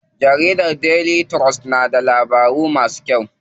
Jarida Daily trust na da labaru masu kyau.